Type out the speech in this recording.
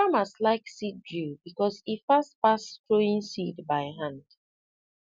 farmers like seed drill because e fast pass throwing seed by hand